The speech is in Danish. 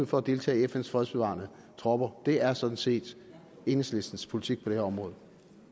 for at deltage i fns fredsbevarende tropper det er sådan set enhedslistens politik på det her område